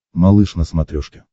малыш на смотрешке